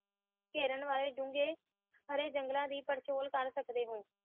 ਕਰਨ ਵਾਲੇ ਹਾਰੇ ਜੰਗਲ ਦੀ ਪੜਚੋਲ ਕਰ ਸਕਦੇ ਹੋ